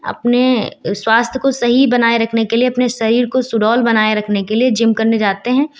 अपने स्वास्थ्य को सही बनाए रखने के लिए अपने शरीर को सुडौल बनाए रखने के लिए जिम करने जाते हैं।